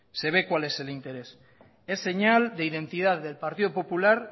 se ve cuál es el interés es señal de identidad del partido popular